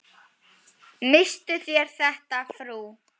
Misstuð þér þetta, frú!